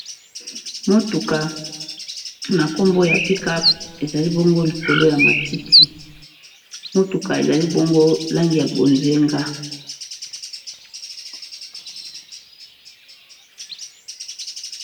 Motuka na nkombo ya pickup ezali bongo likolo ya matiti, motuka ezali bongo langi ya bozinga.